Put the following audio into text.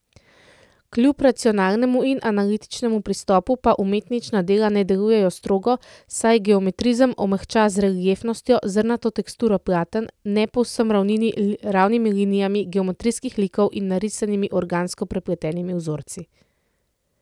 Kljub racionalnemu in analitičnem pristopu pa umetničina dela ne delujejo strogo, saj geometrizem omehča z reliefnostjo, zrnato teksturo platen, ne povsem ravnimi linijami geometrijskih likov in narisanimi organsko prepletenimi vzorci.